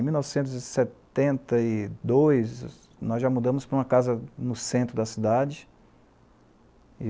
Em mil novecentos e setenta e dois, nós já mudamos para uma casa no centro da cidade.